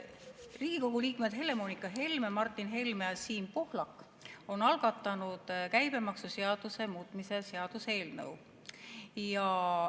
Riigikogu liikmed Helle‑Moonika Helme, Martin Helme ja Siim Pohlak on algatanud käibemaksuseaduse muutmise seaduse eelnõu.